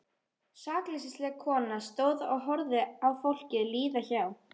Sakleysisleg kona stóð og horfði á fólkið líða hjá.